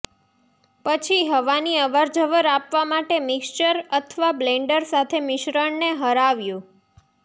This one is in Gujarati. પછી હવાની અવરજવર આપવા માટે મિક્સર અથવા બ્લેન્ડર સાથે મિશ્રણને હરાવ્યું